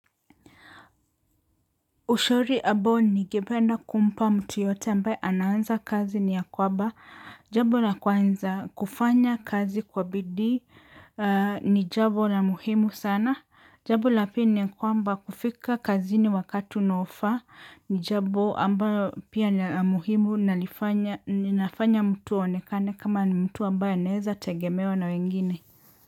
Ushauri ambao ningependa kumpa mtu yeyote ambaye anaanza kazi ni ya kwaba jabo na kwanza kufanya kazi kwa bidii ni jabo la muhimu sana. Jabo lapili ni kwamba kufika kazini wakati unaofaa ni jabo ambayo pia ni la muhimu na nifanya nafanya mtu aonekane kama ni mtu ambaye anaeza tegemewa na wengine.